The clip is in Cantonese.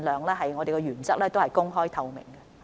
就此，我們的原則是盡量公開透明。